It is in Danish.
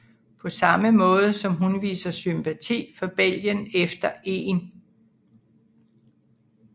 På samme måde som hun viser sympati for Belgien efter 1